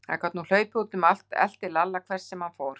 Hún gat nú hlaupið um allt og elti Lalla hvert sem hann fór.